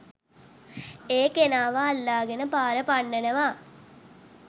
ඒ කෙනාව අල්ලාගෙන පාර පන්නවනවා.